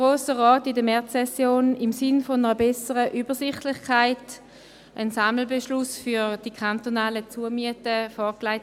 der BaK. Dem Grossen Rat wird zum dritten Mal innerhalb der Märzsession im Sinne einer besseren Übersichtlichkeit ein Sammelbeschluss für die kantonalen Zumieten vorgelegt.